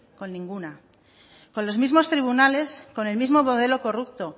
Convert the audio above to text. con ninguna con los mismos tribunales con el mismo modelo corrupto